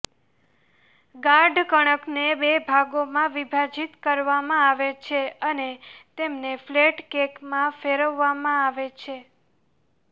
ગાઢ કણકને બે ભાગોમાં વિભાજિત કરવામાં આવે છે અને તેમને ફ્લેટ કેકમાં ફેરવવામાં આવે છે